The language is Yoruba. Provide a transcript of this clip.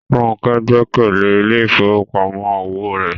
Ronke gbẹ́kẹ̀lé ilé ìfowópamọ́ òwò rẹ̀